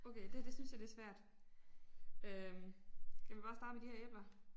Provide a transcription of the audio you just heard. Okay det her det synes jeg det svært. Øh skal vi bare starte med de her æbler